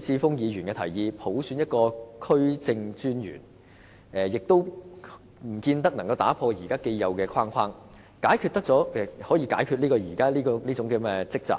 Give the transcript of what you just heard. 智峯議員所建議，普選一個區政專員，亦不見得可以打破現時既有的框架，除去這種積習。